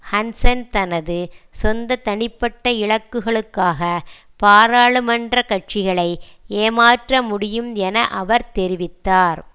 Hansen தனது சொந்த தனிப்பட்ட இலக்குகளுக்காக பாராளுமன்ற கட்சிகளை ஏமாற்ற முடியும் என அவர் தெரிவித்தார்